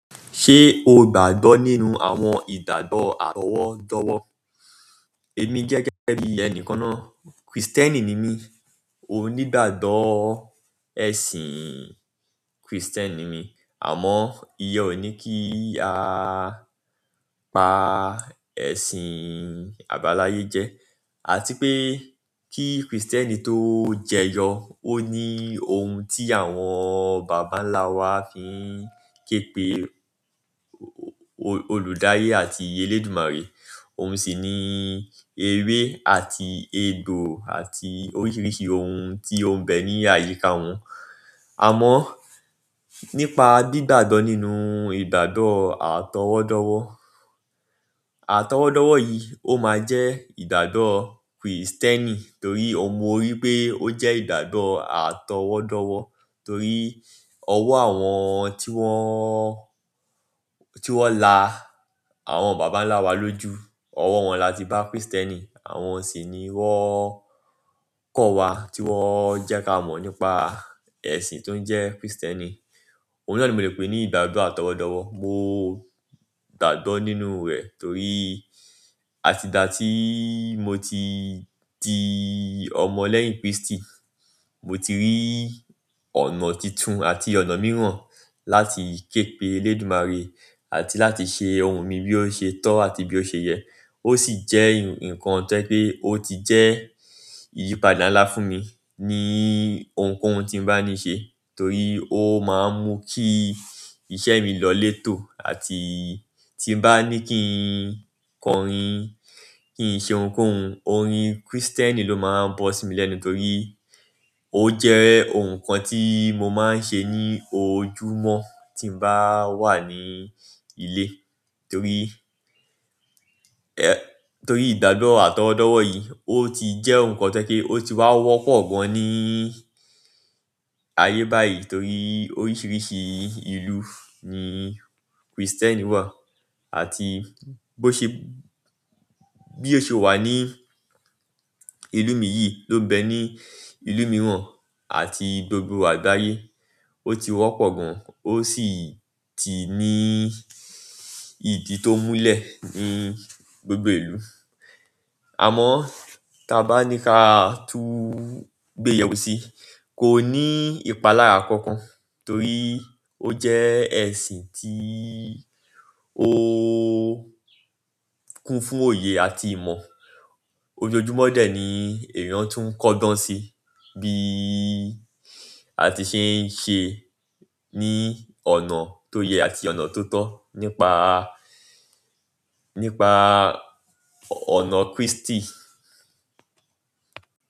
Ṣé o gbọdọ̀ nínú àwọn ìdádó àtọwọ́dọ̀wọ̀? Èmi gẹ́gẹ́ bi ẹnìkan náà, Kristẹni ni mí. Mo nígbàgbọ̀ ẹ̀sìn Kristẹni mi, àmọ́ iyen òní kí a pa ẹ̀sìn àbáláyé jẹ, àti pé kí Kristẹni tó jẹyọ ó ní ohun tí àwọn bàbá ńlá wa fi ń képe olùdarí àti elédùmarè. Òun sì ní ewé àti egbò àti oríṣiríṣi oun tí ó be ní àyíká un. Àmọ́ nípa dídàdọ nínú ìdádó àtọwọ̀dọ̀wọ̀, àtọwọ̀dọ̀wọ̀ yìí ó máa jẹ́ ìdádó Kristẹni torí mo rí pé ó jẹ́ ìdádó àtọwọ̀dọ̀wọ̀ torí ọwọ́ àwọn tí wọ́n, tí wọ́n la àwọn bàbá ńlá wa ló jú, ọwọ́ wọn láti bá Kìrìsìtẹ́ẹ́nì, àwọn sì ni wọn, kò wá tí wọn jẹ́ kí a mọ̀ nípa ẹ̀sìn tí ó jẹ́ Kìrìsìtẹ́ẹ́nì. Ohun náà ni mo le pè ní ìdádó àtọwọ̀dọ̀wọ̀. Mo dàgbọ́ nínú rẹ̀ torí àti dà tí mo ti di ọmọ lẹ́yìn Kristi, mo ti rí ọ̀nà títun àti ọ̀nà mìíràn láti képe elédùmarè àti láti ṣe ohun mi bí ó ṣe tọ́ àti bí ó ṣe yẹ. Ó sì jẹ́ ǹkan tó jẹ́ pé ó ti jẹ́ ìyípadà ńlá fún mi ní ohunkóhun tí n bá ní ṣe torí ó máa ń mú kí iṣẹ́ mi lọ létò àti tí n bá ní kí n kọrin, kí n ṣe ohunkóhun, orin Kristẹni ló máa ń bọ́ sí mi lẹ́nu torí ó jẹ́ ohun kan tí mo máa ń ṣe ní ojúmọ́ tí n bá wà ní ilé torí, torí ìdádó àtọwọ̀dọ̀wọ̀ yìí ó ti jẹ́ ohun kan tó jẹ́ pé ó ti wá wọ́pọ̀ gan ní ayé báyìí torí oríṣiríṣi ìlú ni Kristẹni wà àti bí ó ṣe wà ní ìlú mi yìí ló bẹ ní ìlú mìíràn àti gbogbo àgbáyé. Ó ti wọ́pọ̀ gan, ó sì ti ní ìdí tó múlẹ̀ ní gbogbo ìlú. Àmọ́ tí a bá ní ká tú gbéyẹ̀wò sí i, kò ní ìpalára kankan tórí ó jẹ́ ẹ̀sìn tí ó kún fún oyè àti ìmọ̀, ojoojúmọ́ dé ni ẹ̀yàn tún kọ́ tán sí bí àti ṣeṣe ní ọ̀nà tó yẹ̀n àti ọ̀nà tòótọ́ nípa, nípa ọ̀nà Kírísítì.